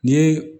Ni ye